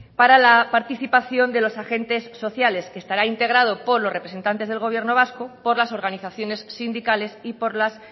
para la participación de los agentes sociales que estará integrado por los representantes del gobierno vasco por las organizaciones sindicales y por las